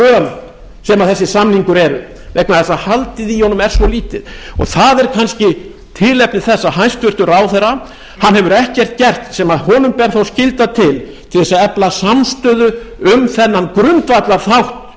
föl sem þessi samningur er vegna þess að haldið í honum er svo lítið það er kannski tilefni þess að hæstvirtur ráðherra hefur ekkert gert sem honum ber þó skylda til til að efla samstöðu um þennan grundvallarþátt